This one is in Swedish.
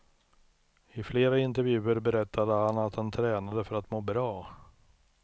I flera intervjuer berättade han att han tränade för att må bra.